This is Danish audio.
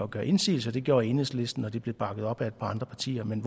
gøre indsigelse det gjorde enhedslisten og det blev bakket op af et par andre partier men